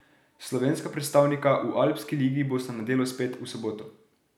Slovenska predstavnika v Alpski ligi bosta na delu spet v soboto.